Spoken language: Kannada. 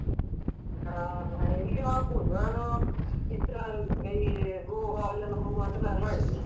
ಹಾ ಎಲ್ಲಿಯೂ ಆಗ್ಬಹುದು ನಾನು ಸರ್ ಈ ಇಲ್ಲಿ ಗೋವಾ ಅಲ್ಲೆಲ್ಲ ಹೋಗ್ವ ಅಂತ plan ಮಾಡಿದೀನಿ.